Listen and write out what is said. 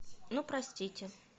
ну простите